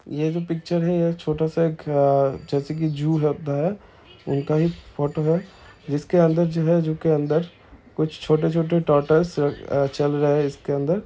यह पिक्चर मे एक छोटा-सा जैसे के जू लगता है उनका ही एक फोटो है इसके अंदर जो है जू के अंदर कुछ छोटे-छोटे आ टोरटल्स चल रहे है इसके अंदर--